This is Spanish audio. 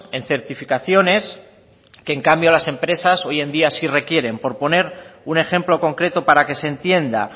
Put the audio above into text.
en certificaciones que en cambio las empresas hoy en día sí requieren por poner un ejemplo concreto para que se entienda